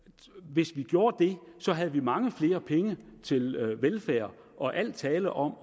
hvis vi gjorde det havde vi mange flere penge til velfærd og al tale om